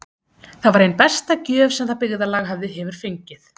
Það var ein besta gjöf sem það byggðarlag hefur fengið.